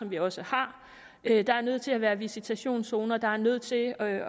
vi også har at der er nødt til at være visitationszoner at der er nødt til at